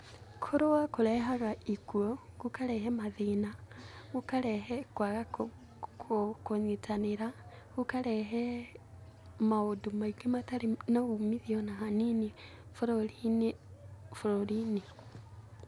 Kũrũa kũrehaga ikuũ, gũkarehe mathĩna, gũkarehe kwaga kũnyitanĩra na gũkarehe maũndũ maingĩ matarĩ na ũmithio ona hanini bũrũri, bũrũri-inĩ.